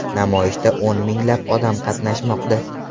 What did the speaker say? Namoyishda o‘n minglab odam qatnashmoqda.